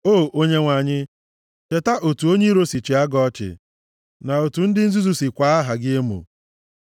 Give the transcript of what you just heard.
O Onyenwe anyị, cheta otu onye iro si chịa gị ọchị, na otu ndị nzuzu si kwaa aha gị emo.